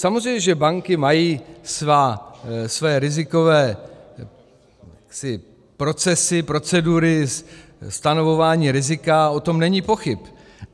Samozřejmě že banky mají své rizikové procesy, procedury stanovování rizika, o tom není pochyb.